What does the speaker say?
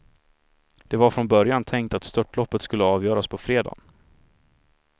Det var från början tänkt att störtloppet skulle avgöras på fredagen.